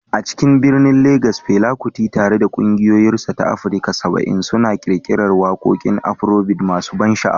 A cikin birnin Legas, Fela Kuti, tare da ƙungiyarsa ta Africa 70, suna ƙirƙirar waƙoƙin Afrobeat masu ban sha'awa.